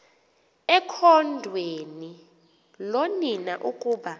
ekhondweni loonina ukuba